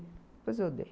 Depois eu dei.